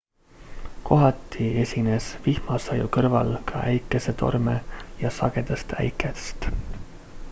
kohati esines vihmasaju kõrval ka äikesetorme ja sagedast äikest